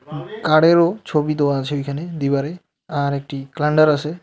কারেরও ছবি দেওয়া আছে ওইখানে দিবারে আর একটি ক্লান্ডার আছে.